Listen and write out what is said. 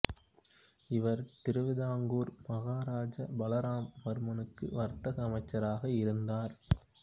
இவர் திருவிதாங்கூர் மகாராஜா பலராம வர்மனுக்கு வர்த்தக அமைச்சராக இருந்தார்